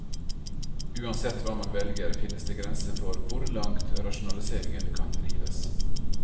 Uansett hva man velger, finnes det grenser for hvor langt rasjonaliseringen kan drives.